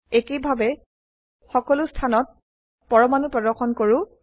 একেইভাবে সকলো স্থানত পৰমাণু প্ৰদৰ্শন কৰো